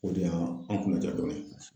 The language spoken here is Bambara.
O de y'a anw kunaja dɔɔni.